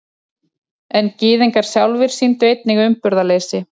En Gyðingar sjálfir sýndu einnig umburðarleysi.